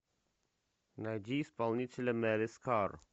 найди исполнителя мелис кар